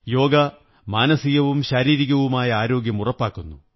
യോഗ മാനസികവും ശാരീരികവുമായ ആരോഗ്യം ഉറപ്പാക്കുന്നു